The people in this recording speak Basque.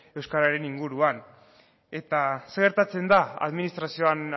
euskararen inguruan eta zer gertatzen da administrazioan